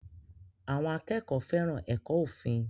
Àwọn akẹ́kọ̀ọ́ fẹ́ràn ẹ̀kọ́ òfin